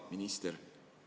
Hea minister!